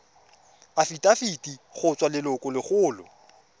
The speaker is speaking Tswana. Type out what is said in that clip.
afitafiti go tswa go lelokolegolo